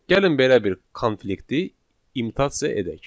Gəlin belə bir konflikti imitasiya edək.